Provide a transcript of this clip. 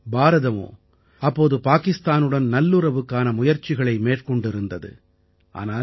பாரதமோ அப்போது பாகிஸ்தானுடன் நல்லுறவுக்கான முயற்சிகளை மேற்கொண்டிருந்தது ஆனால்